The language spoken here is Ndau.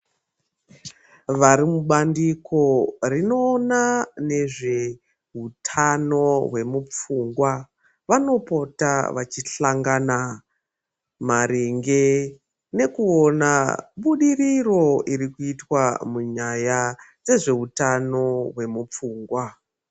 Vari mubandiko rinoona nezvehutano hwemupfungwa, vanopota vachihlangana ,maringe nekuona budiriro irikuitwa munyaya dzezveutano hwemupfungwa.